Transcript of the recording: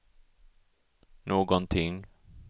någonting